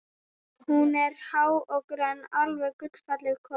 Hún er há og grönn, alveg gullfalleg kona.